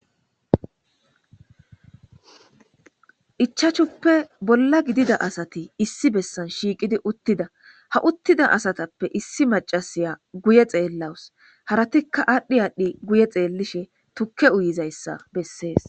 Ichachuppe bolla gidida asati issi bessan shiiqidi uttida ha uttida asatappe issi macasiya guye xeellawus haratikka aadhdhi aadhdhi guye xeellishe tukke uyizayssa bessees.